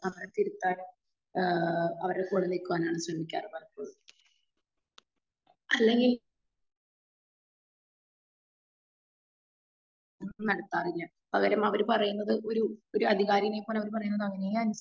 അവരെ തിരുത്താൻ ഏഹ് അവരെ കൂടെ നിക്കുവാനും ശ്രെമിക്കുകയൊള്ളു പലപ്പോഴും. അല്ലെങ്കി അവർക്ക് മനസ്സിലാവില്ല. അല്ലെങ്കിൽ അവർ പറയുന്നത് ഒരു ഒരു അധികാരിനെ പോലെ അവർ പറയുന്ന കാര്യങ്ങൾ അങ്ങനെ.